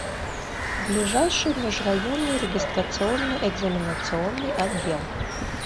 ближайший межрайонный регистрационно экзаменационный отдел